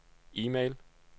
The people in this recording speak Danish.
e-mail